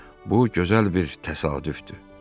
Bu gözəl bir təsadüfdür.